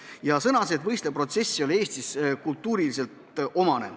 Tema arvates võistlev protsess ei ole Eesti kultuurile omane.